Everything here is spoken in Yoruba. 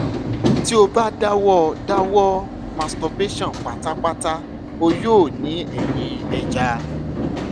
ti o ba dawọ dawọ masturbation patapata o yoo ni ẹyin eja